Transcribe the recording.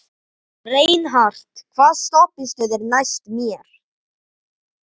Reinhart, hvaða stoppistöð er næst mér?